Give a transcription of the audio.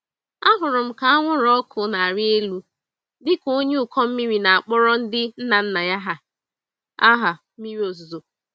Ahụrụ m ka anwụrụ ọkụ n'arị élú dịka onye ụkọ mmiri na-akpọrọ ndị nna nna anyị hà, aha mmiri ozuzo.